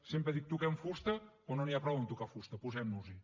sempre dic toquem fusta però no n’hi ha prou amb tocar fusta posem nos hi